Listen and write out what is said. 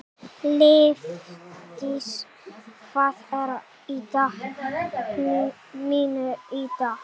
Lífdís, hvað er í dagatalinu mínu í dag?